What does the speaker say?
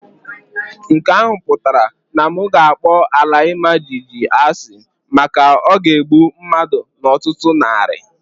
Nke ahụ pụtara na m ga-akpọ ala ima jijiji asị maka o ga-egbu mmadu n'ọtụtụ narị.